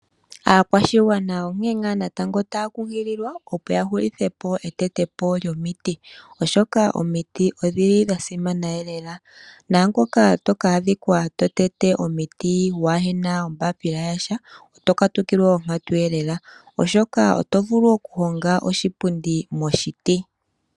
Aakwashigwana onkene ngaa taya kunkililwa, opo ya hulitha po etetepo lyomiti, oshoka omiti odha simana lela. Naangoka to ka adhika to tete omiti waa he na ombaapila ya sha oto katukilwa onkatu, oshoka oto vulu okuhonga oshipundi moshiti.